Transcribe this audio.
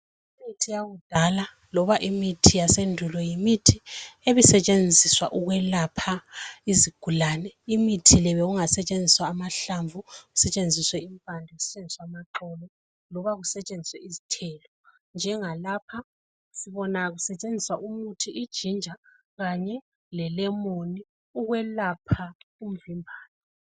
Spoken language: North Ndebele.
Imithi yakudala loba imithi yasendulo yimithi ebisetshenziswa ukuyelapha izigulani imithi le bekungasetshenziswa amahlamvu kusetshenziswe impande kusetshenziswe amaxolo loba kusetshenziswe izithelo njenga lapha sibona kusetshenziswa ginger kanye lamalemon ukuyelapha umvimbane